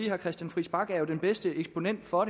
herre christian friis bach er den bedste eksponent for